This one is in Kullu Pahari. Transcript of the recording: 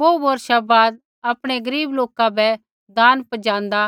बोहू बौर्षा बाद आपणै गरीब लोका बै दान पजाँदा